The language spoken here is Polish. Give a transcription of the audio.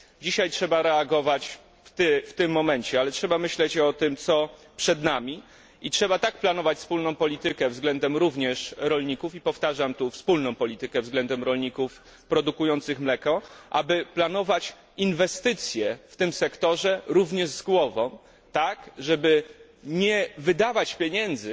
Dzisiaj trzeba reagować w tym momencie, ale trzeba myśleć o tym, co przed nami, i trzeba tak planować wspólną politykę względem również rolników, i powtarzam tu wspólną politykę względem rolników produkujących mleko, aby planować rozsądne inwestycje w tym sektorze, tak żeby nie wydawać pieniędzy,